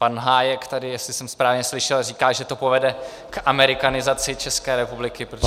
Pan Hájek tady, jestli jsem správně slyšel, říká, že to povede k amerikanizaci České republiky, protože -